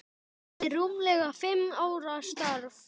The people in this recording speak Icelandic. eftir rúmlega fimm ára starf.